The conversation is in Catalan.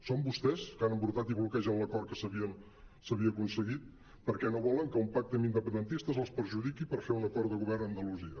són vostès que han embrutat i bloquejat l’acord que s’havia aconseguit perquè no volen que un pacte amb independentistes els perjudiqui per fer un acord de govern a andalusia